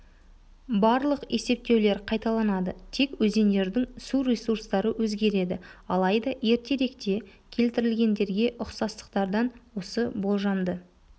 барлық есептеулер қайталанады тек өзендердің су ресурстары өзгереді алайда ертеректе келтірілгендерге ұқсастықтардан осы болжамды